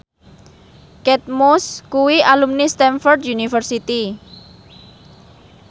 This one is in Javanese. Kate Moss kuwi alumni Stamford University